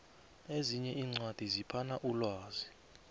ezinye iincwadi ziphana umlwazi